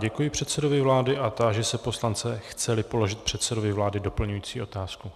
Děkuji předsedovi vlády a táži se poslance, chce-li položit předsedovi vlády doplňující otázku.